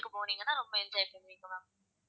போனீங்கன்னா ரொம்ப enjoy பண்ணுவீங்க ma'am